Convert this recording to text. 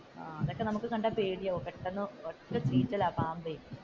എന്നിട്ടു നമുക്ക് കണ്ടാൽ പേടിയാകും, പെട്ടെന്നു ഒറ്റ ചീറ്റലാണ് പാമ്പേ